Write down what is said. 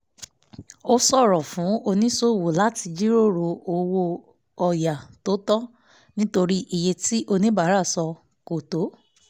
ó ṣòro fún oníṣòwò láti jíròrò owó ọ̀yà tó tọ́ nítorí iye tí oníbàárà sọ kò tó